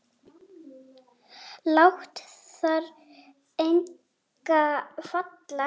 Lát þar enga falla.